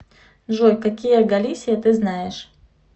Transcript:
джой какие галисия ты знаешь